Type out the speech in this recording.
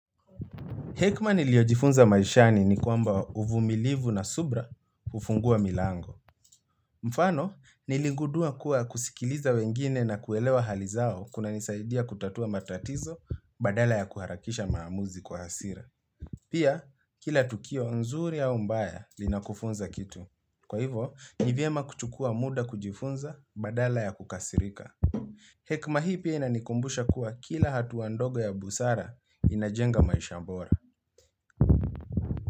Hekma niliojifunza maishani ni kwamba uvumilivu na subra hufungua milango. Mfano, nilingudua kuwa kusikiliza wengine na kuelewa halizao kuna nisaidia kutatua matatizo badala ya kuharakisha maamuzi kwa hasira. Pia, kila tukio nzuri au mbaya linakufunza kitu. Kwa hivo, nivyema kuchukua muda kujifunza badala ya kukasirika. Hekma hii pia inanikumbusha kuwa kila hatu ndogo ya busara inajenga maisha bora.